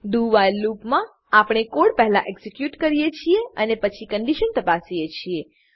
doવ્હાઇલ loop મા આપણે code પહેલા એક્ઝીક્યુટ કરીએ છીએ અને પછી કન્ડીશન તપાસીએ છીએ